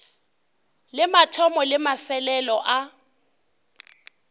le mathomo le mafelelo a